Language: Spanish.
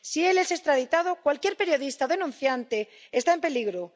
Si él es extraditado, cualquier periodista denunciante está en peligro.